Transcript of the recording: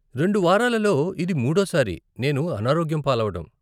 రెండు వారాలలో ఇది మూడో సారి నేను అనారోగ్యం పాలవడం.